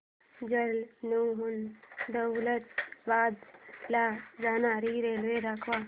जालन्याहून दौलताबाद ला जाणारी रेल्वे दाखव